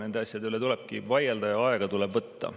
Nende asjade üle tuleb vaielda ja aega tuleb võtta.